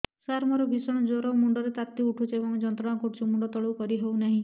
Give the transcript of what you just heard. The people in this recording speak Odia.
ସାର ମୋର ଭୀଷଣ ଜ୍ଵର ମୁଣ୍ଡ ର ତାତି ଉଠୁଛି ଏବଂ ଯନ୍ତ୍ରଣା କରୁଛି ମୁଣ୍ଡ ତଳକୁ କରି ହେଉନାହିଁ